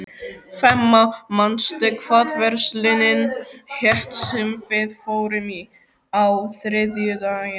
Fema, manstu hvað verslunin hét sem við fórum í á þriðjudaginn?